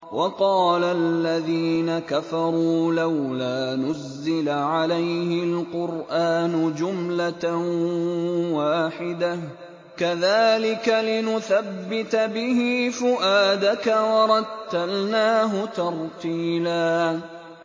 وَقَالَ الَّذِينَ كَفَرُوا لَوْلَا نُزِّلَ عَلَيْهِ الْقُرْآنُ جُمْلَةً وَاحِدَةً ۚ كَذَٰلِكَ لِنُثَبِّتَ بِهِ فُؤَادَكَ ۖ وَرَتَّلْنَاهُ تَرْتِيلًا